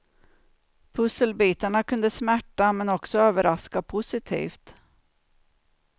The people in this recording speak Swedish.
Pusselbitarna kunde smärta men också överraska positivt.